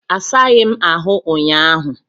Asaghị m ahụ ụnyaahụ.